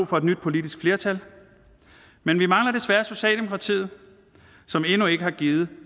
for et nyt politisk flertal men vi mangler desværre socialdemokratiet som endnu ikke har givet